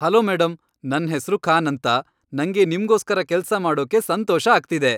Hello madam, ನನ್ ಹೆಸ್ರು ಖಾನ್ ಅಂತ. ನಂಗೆ ನಿಮ್ಗೋಸ್ಕರ ಕೆಲ್ಸ ಮಾಡೋಕೆ ಸಂತೋಷ ಆಗ್ತಿದೆ.